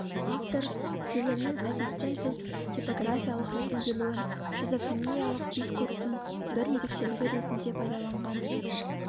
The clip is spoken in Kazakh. автор сөйлемнің әдеттен тыс типографиялық рәсімделуін шизофрениялық дискурстың бір ерекшелігі ретінде пайдаланған